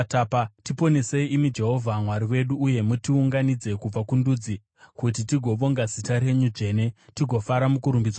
Tiponesei, imi Jehovha Mwari wedu, uye mutiunganidze kubva kundudzi, kuti tigovonga zita renyu dzvene. Tigofara mukurumbidzwa kwenyu.